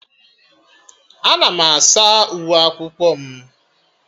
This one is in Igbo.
Ana m asa uwe akwụkwọ m